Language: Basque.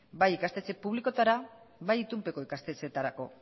bai ikastetxe publikoetara bai itunpeko ikastetxeetarako